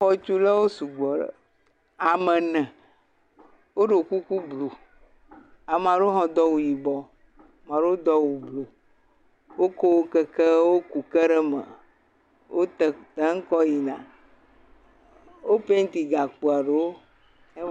Xɔtulawo sugbɔ ɖe.. ame ene woɖo kuku blu, ame aɖewo hã do awu yibɔ, ame aɖewo do awu blu woko keke ku ke ɖe me, wokɔ gbãtɔ̃ yina, wo painti gakpoa ɖewo.